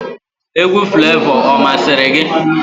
Egwu Flevọ ọ masịrị gị?